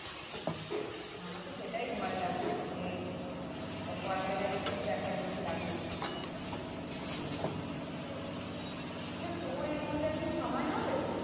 আচ্ছা আমার তো সেটাই ভয় লাগছে যে করাতে গেলে খুব বেথা বেশি লাগে কি না আচ্ছা তোর এর মধ্যে একদিন সময়ে হবে